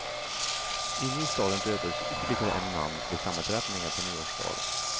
Inne i staden dödades ytterligare en man vid sammandrabbningar på nyårsdagen.